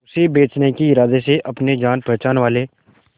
उसे बचने के इरादे से अपने जान पहचान वाले